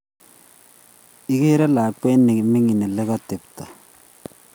Igere nyalkwet ne mining' ole negote taptet